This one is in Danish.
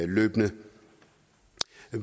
løbende